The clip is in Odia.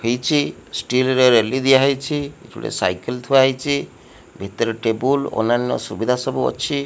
ହେଇଛି ଷ୍ଟିଲ ର ରେଲି ଦିଆହେଇଛି ଗୋଟିଏ ସାଇକଲ ଥୁଆ ହୋଇଛି ଭିତରରେ ଟେବୁଲ ଅନ୍ୟାନ୍ଯ ସୁଭିଧା ସବୁ ଅଛି।